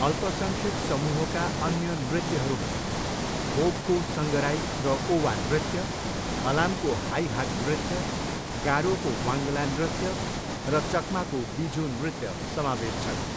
अल्पसङ्ख्यक समूहका अन्य नृत्यहरूमा मोगको सङ्गराई र ओवा नृत्य, हलामको हाइ हाक नृत्य, गारोको वाङ्गला नृत्य र चकमाको बिझु नृत्य समावेश छन्।